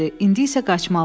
İndi isə qaçmalıyam.